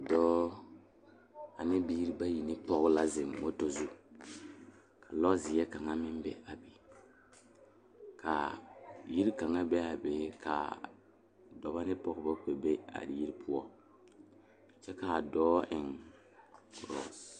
Dɔɔba ane bibiiri bayi ba ba zeŋ leɛ la ba puori ko zie ba naŋ daare bayi zeŋ ta la teŋa bata vɔgle la sapele naŋ waa peɛle bonyene vɔgle sapele naŋ e sɔglɔ ba taa la ba tontuma boma kaa waa buluu.